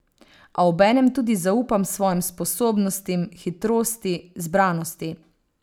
A obenem tudi zaupam svojim sposobnostim, hitrosti, zbranosti.